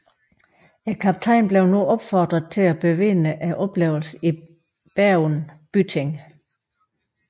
Kaptajnen blev nu opfordret til at bevidne oplevelsen i Bergen byting